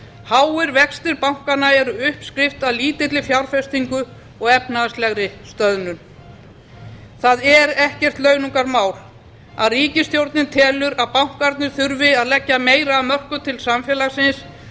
háir vextir bankanna eru uppskrift að lítilli fjárfestingu og efnahagslegri stöðnun það er ekkert launungarmál að ríkisstjórnin telur að bankarnir þurfi að leggja meira af mörkum til samfélagsins